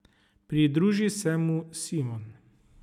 Pridruži se mu Simon.